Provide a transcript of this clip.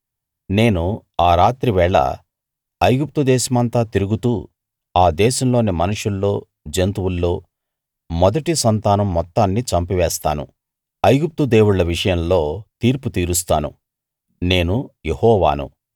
నేను ఆ రాత్రి వేళ ఐగుప్తు దేశమంతా తిరుగుతూ ఆ దేశంలోని మనుషుల్లో జంతువుల్లో మొదటి సంతానం మొత్తాన్ని చంపివేస్తాను ఐగుప్తు దేవుళ్ళ విషయంలో తీర్పు తీరుస్తాను నేను యెహోవాను